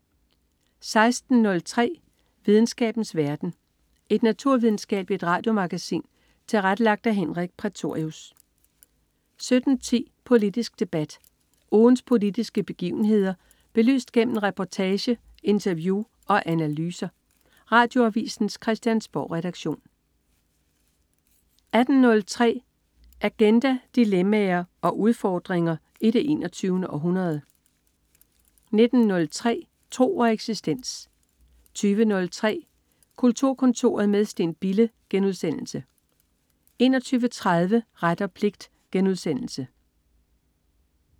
16.03 Videnskabens verden. Et naturvidenskabeligt radiomagasin tilrettelagt af Henrik Prætorius 17.10 Politisk debat. Ugens politiske begivenheder belyst gennem reportage, interview og analyser. Radioavisens Christiansborgredaktion 18.03 Agenda. Dilemmaer og udfordringer i det 21. århundrede 19.03 Tro og eksistens 20.03 Kulturkontoret med Steen Bille* 21.30 Ret og pligt*